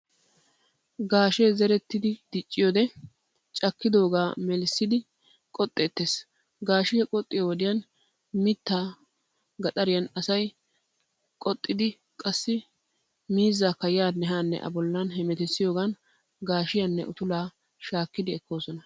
Gaashee zerettidi dicciyoodee caakkidoogaa melissidi qoxxeettees. Gaashiyaa qoxxiyo wodiyan mittaa gaxxariyan asay qoxxiiddi qassi miizzaakka yaanne haanne A bollan hemetissiyoogan gaashiyaanne utulaa shaakkidi ekkoosona.